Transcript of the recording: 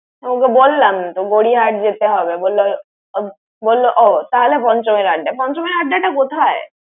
ওকে বললাম তো গড়িয়াহাট যেতে হবে। বলল ও তাহলে পঞ্চমের আড্ডায়। তাহলে পঞ্চমের আড্ডাটা কথায়?